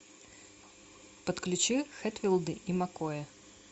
подключи хэтфилды и маккои